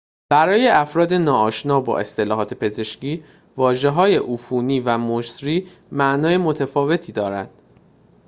برای افراد ناآشنا با اصطلاحات پزشکی واژه‌های عفونی و مسری معانی متفاوتی دارند